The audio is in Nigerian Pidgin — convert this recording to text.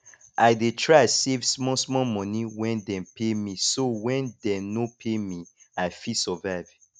i dey try save small small monie when dem pay me so when dey no pay me i fit survive